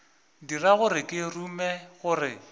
dira gore ke rume gore